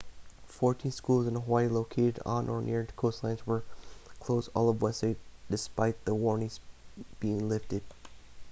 fourteen schools in hawaii located on or near coastlines were closed all of wednesday despite the warnings being lifted